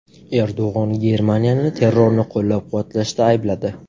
Erdo‘g‘on Germaniyani terrorni qo‘llab-quvvatlashda aybladi.